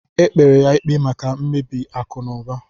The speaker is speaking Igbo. Ekpere ya ikpe maka mmebi akụ na ụba